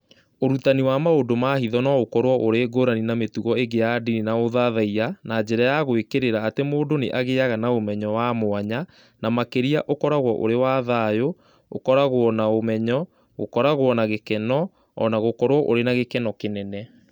Ũrutani wa maũndũ ma hitho no ũkorũo ũrĩ ngũrani na mĩtugo ĩngĩ ya ndini na ũthathaiya na njĩra ya gwĩkĩrĩra atĩ mũndũ nĩ agĩaga na ũmenyo wa mwanya, na makĩria ũkoragwo ũrĩ wa thayũ, ggũkoragwo na ũmenyo, gũkoragwo na gĩkeno, o na gũkoragwo ũrĩ wa gĩkeno kĩnene